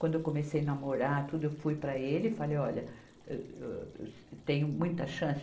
Quando eu comecei namorar, tudo, eu fui para ele e falei, olha, êh, âh, tenho muita chance